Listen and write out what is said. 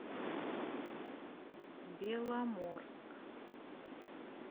беломорск